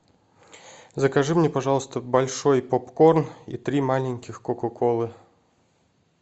закажи мне пожалуйста большой попкорн и три маленьких кока колы